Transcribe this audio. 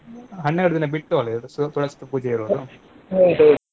ಹನ್ನೆರ್ದ್ ದಿನ, ಹನ್ನೆರ್ದ್ ದಿನ ಬಿಟ್ಟು ಅಲಾ ಇರೋದ್ ತುಳಸಿ ಪೂಜೆ ಇರೋದು.